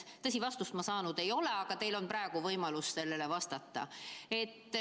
Tõsi, vastust saanud ei ole, aga teil on praegu võimalus vastata.